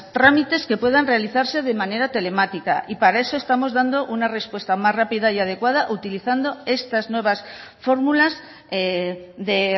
trámites que puedan realizarse de manera telemática y para eso estamos dando una respuesta más rápida y adecuada utilizando estas nuevas fórmulas de